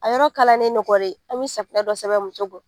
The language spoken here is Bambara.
A yɔrɔ kalanen an bɛ dɔ sɛbɛ muso